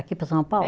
Aqui para São Paulo?